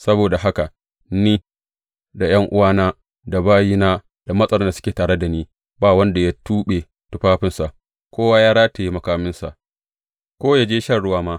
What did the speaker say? Saboda haka ni, da ’yan’uwana, da bayina, da matsaran da suke tare da ni, ba wanda ya tuɓe tufafinsa; kowa ya rataye makaminsa, ko ya je shan ruwa ma.